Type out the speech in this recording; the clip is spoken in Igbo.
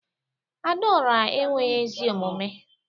Adaora enweghi ezi omume